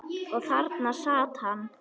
Og þarna sat hann.